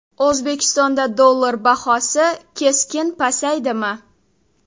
O‘zbekistonda dollar bahosi keskin pasayadimi?.